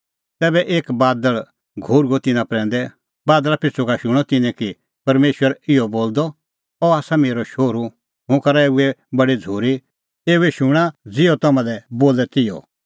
तैबै एक बादल़ घोर्हुअ तिन्नां प्रैंदै बादल़ा पिछ़ू का शूणअ तिन्नैं कि परमेशर इहअ बोलदअ अह आसा मेरअ शोहरू हुंह करा एऊए बडी झ़ूरी एऊए शूणां ज़िहअ तम्हां लै बोले तिहअ